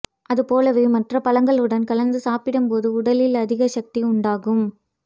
அதுபோலவே ம்ற்ற பழங்களுடன் கலந்து சாப்பிடும்போது உடலில் அதிக சக்தி உண்டாகும்